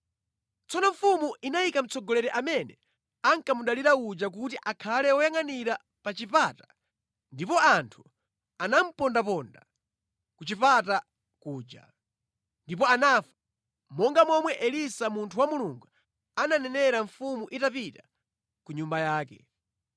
Tsono mfumu inayika mtsogoleri amene ankamudalira uja kuti akhale woyangʼanira pa chipata ndipo anthu anamupondaponda ku chipata kuja, ndipo anafa, monga momwe Elisa munthu wa Mulungu ananenera mfumu itapita ku nyumba yake.